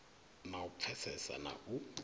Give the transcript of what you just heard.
na u pfesesa na u